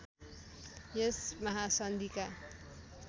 यस महासन्धिका